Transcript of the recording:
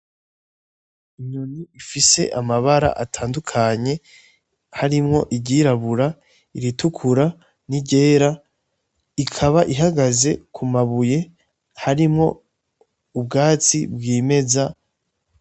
Inyoni ifise amabara atandukanye, harimwo iryirabura, iritukura, n'iryera. Ikaba ihagaze kumabuye harimwo ubwatsi bwimeza.